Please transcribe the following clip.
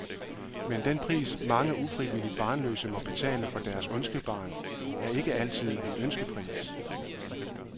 Men den pris, mange ufrivilligt barnløse må betale for deres ønskebarn, er ikke altid en ønskepris.